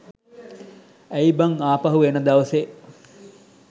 ඇයි බං ආපහු එන දවසේ